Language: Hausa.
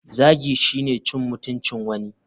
Zagi shine cin mutuncin wani.